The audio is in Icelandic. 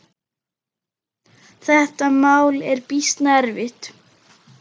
Þetta mál er býsna erfitt.